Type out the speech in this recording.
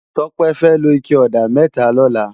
Tope fè ló iké òdá mètá lòlá